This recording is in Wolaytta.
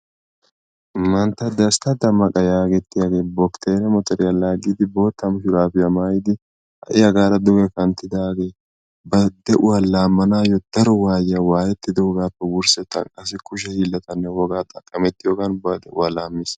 Mantta Destta Dammaqa yaagetettiyaagee bokssere motoriyaa laaggiddi bootta gaabiyaa maayidi ha'i duge kanttidaagee bari de'uwaa laammanaayoo daro waayiaa waayettidoogaappe wursettan qassi kushe hiillatanne wogaa xaqqamettiyoogan bari de'uwaa laammis.